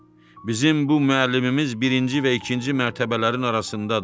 Bizim bu müəllimimiz birinci və ikinci mərtəbələrin arasındadır.